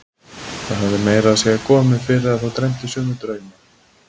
Það hafði meira að segja komið fyrir að þá dreymdi sömu drauma.